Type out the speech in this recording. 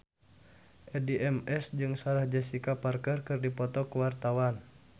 Addie MS jeung Sarah Jessica Parker keur dipoto ku wartawan